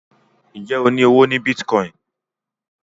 Njé o ní ọwọ ní Bitcoin?